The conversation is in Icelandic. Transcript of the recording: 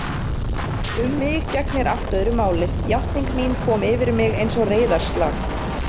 Um mig gegnir allt öðru máli: játning þín kom yfir mig einsog reiðarslag.